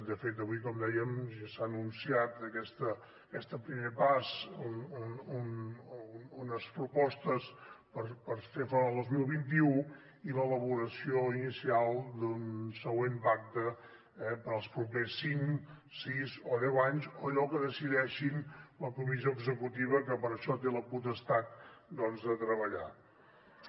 de fet avui com dèiem ja s’ha anunciat aquest primer pas unes propostes per fer front al dos mil vint u i l’elaboració inicial d’un següent pacte eh per als propers cinc sis o deu anys o allò que decideixi la comissió executiva que per això té la potestat doncs de treballar hi